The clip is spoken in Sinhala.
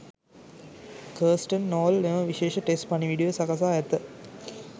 කර්ස්ටන් නෝල් මෙම විශේෂ ටෙස්ට් පණිවුඩය සකසා ඇත.